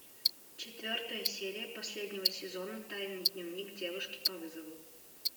четвертая серия последнего сезона тайный дневник девушки по вызову